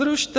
Zrušte!